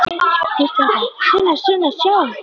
Hvíslar hratt: Sunna, Sunna, sjáðu!